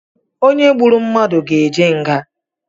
Onye gburu mmadụ ga eje nga